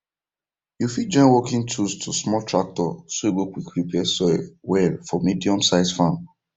you fit join working tools to small tractor so e go quick prepare soil well for mediumsize farm